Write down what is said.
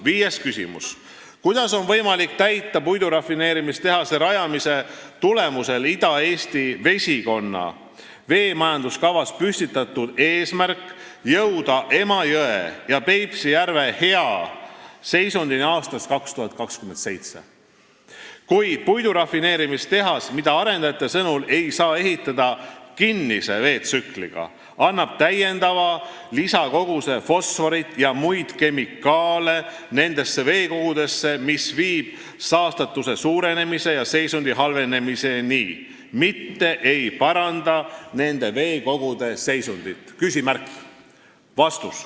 Viies küsimus: kuidas on võimalik täita puidurafineerimistehase rajamise tulemusel Ida-Eesti vesikonna veemajanduskavas püstitatud eesmärki jõuda Emajõe ja Peipsi järve hea seisundini aastaks 2027, kui puidurafineerimistehas, mida arendajate sõnul ei saa ehitada kinnise veetsükliga, annab täiendava lisakoguse fosforit ja muid kemikaale nendesse veekogudesse, mis viib saastatuse suurenemise ja seisundi halvenemiseni, mitte ei paranda nende veekogude seisundit?